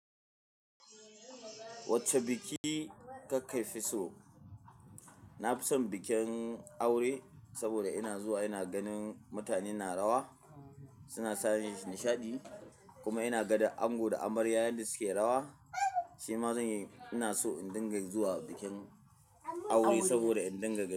Wacce biki ka kaifi so? Na fi son bikin aure saboda ina zuwa ina ganin mutane na rawa, suna sani nishaɗi kuma ina ganin ango da amarya yanda suke rawa. Shi ma zan yi, ina so in dinga zuwa bikin aure saboda in dinga gani.